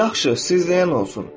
Yaxşı, siz deyən olsun.